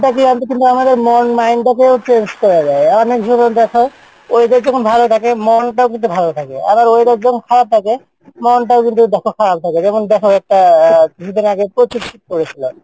মন mind টাকেও change করা যাই, weather যখন ভালো থাকে মনটাও কিন্তু ভালো থাকে আবার weather যখন খারাপ থাকে মনটাও কিন্তু তখন খারাপ থাকে যেমন, দেখো একটা আহ কিছুদিন আগে প্রচুর শীত পড়েসিল,